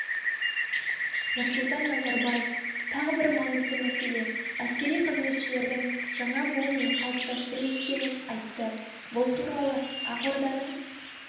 нұрсұлтан назарбаев тағы бір маңызды мәселе әскери қызметшілердің жаңа буынын қалыптастыру екенін айтты бұл туралы ақорданың